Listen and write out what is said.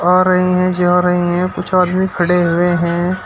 आ रहे हैं जा रहे हैं कुछ आदमी खड़े हुए हैं।